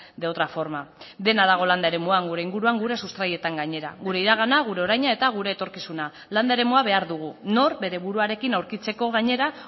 de otra forma dena dago landa eremuan gure inguruan gure sustraietan gainera gure iragana gure oraina eta gure etorkizuna landa eremua behar dugu nor bere buruarekin aurkitzeko gainera